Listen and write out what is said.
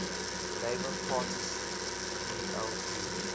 labour party sdlp